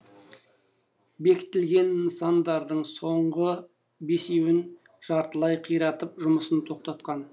бекітілген нысандардың соңғы бесеуін жартылай қиратып жұмысын тоқтатқан